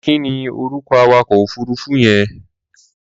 Kí ni orúkọ awakọ̀ òfuruufú yẹn?